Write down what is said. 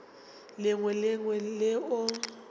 lengwe le le lengwe leo